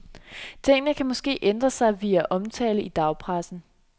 Tingene kan måske ændre sig via omtale i dagspressen.